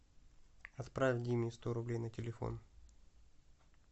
отправь диме сто рублей на телефон